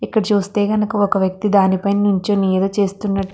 ఇక్కడ చూస్తే గనక ఒక వ్యక్తి దానిపై నించుని ఏదో చేస్తున --